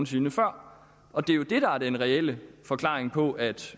sinde før og det er jo det der er den reelle forklaring på at